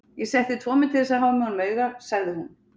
Ég setti tvo menn til þess að hafa með honum auga, sagði hún.